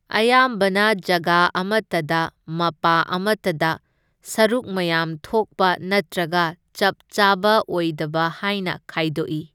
ꯑꯌꯥꯝꯕꯅ ꯖꯒꯥ ꯑꯃꯇꯗ ꯃꯄꯥ ꯑꯃꯇꯗ, ꯁꯔꯨꯛ ꯃꯌꯥꯝ ꯊꯣꯛꯄ ꯅꯠꯇ꯭ꯔꯒ ꯆꯞꯆꯥꯕ ꯑꯣꯢꯗꯕ ꯍꯥꯢꯅ ꯈꯥꯢꯗꯣꯛꯏ꯫